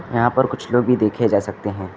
यहां पर कुछ लोग भी देखे जा सकते हैं।